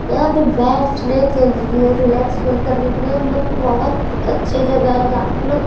यहाँ पे बैठने के लिए रिलैक्स फील करने के लिए मतलब बहोत अच्छी जगह है जहाँ पे लोग--